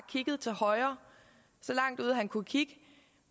kigget til højre så langt ud han kunne kigge